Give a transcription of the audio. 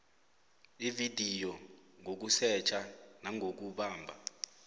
ividiyo ngokusetjha nangokubamba